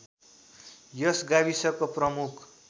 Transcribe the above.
यस गाविसको प्रमुख